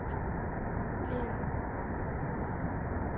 лен